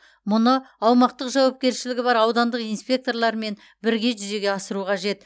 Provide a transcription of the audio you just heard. мұны аумақтық жауапкершілігі бар аудандық инспекторлармен бірге жүзеге асыру қажет